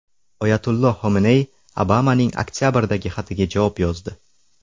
Oyatulloh Xomeney Obamaning oktabrdagi xatiga javob yozdi.